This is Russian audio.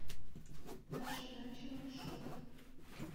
наша дача маршрут